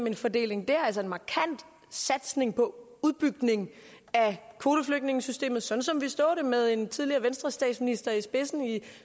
en fordeling der altså med en markant satsning på udbygning af kvoteflygtningesystemet sådan som vi så det med en tidligere venstrestatsminister i spidsen i